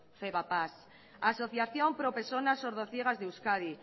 fedapas asociación pro personas sordo ciegas de euskadi